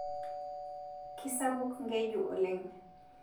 Kisapuk nkeju oleng